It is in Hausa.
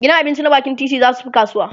gidan abinci na bakin titi zasu Fi kasuwa